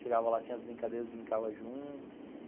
Chegava lá, tinha as brincadeiras, brincava junto...